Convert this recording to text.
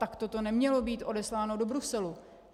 Takto to nemělo být odesláno do Bruselu.